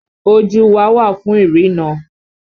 Ojú wa wà fún ìrína